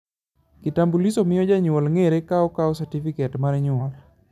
kitambulisho miyo janyuol ngere kokao satifiket mar nyuol